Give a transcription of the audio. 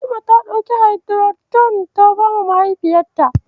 Najma ta ɗauki Haidiroton ta bawa mahaifiyarta.